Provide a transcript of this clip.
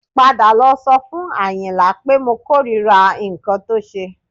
Padà lọ sọ fún Àyìnlá pé mo kórìíra nǹkan tó ṣe